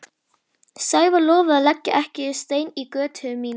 Sævar lofaði að leggja ekki stein í götu mína.